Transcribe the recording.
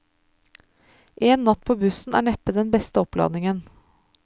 En natt på bussen er neppe den beste oppladningen.